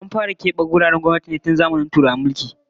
An fara kebe wuraren gwamnati ne tun zamanin Turawan mulki